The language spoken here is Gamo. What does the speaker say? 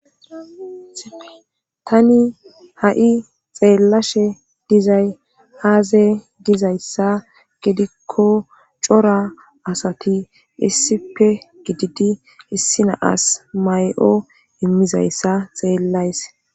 tani ha7i xeellashe dizay aaze dizayssa gidikko cora asati issipe gididi issi naas may7o immizayssa xeellays